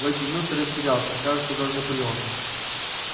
в эти минуты растерялся кажется даже наполеон